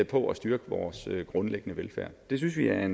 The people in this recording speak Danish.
på at styrke vores grundlæggende velfærd det synes vi er